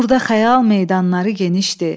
Burda xəyal meydanları genişdir.